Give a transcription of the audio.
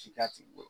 Ci k'a tigi bolo